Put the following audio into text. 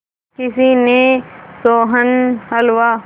किसी ने सोहन हलवा